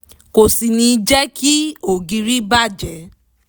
kò sì ní jẹ́ kí ògiri bà jẹ́